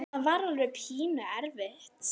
Það var alveg pínu erfitt.